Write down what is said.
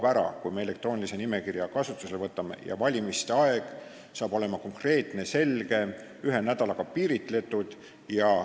Me võtame kasutusele elektroonilise nimekirja ja valimiste aeg hakkab olema konkreetne, selge ja ühe nädalaga piiritletud.